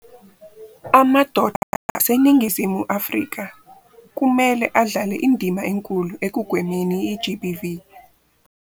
Amadoda aseNingizimu Afrika kumele adlale indima enkulu ekugwemeni i-GBV.